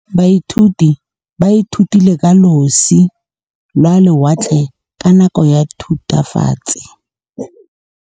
Baithuti ba ithutile ka losi lwa lewatle ka nako ya Thutafatshe.